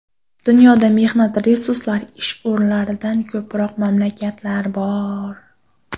Dunyoda mehnat resurslari ish o‘rinlaridan ko‘proq mamlakatlar bor.